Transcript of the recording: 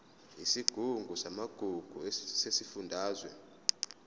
isigungu samagugu sesifundazwe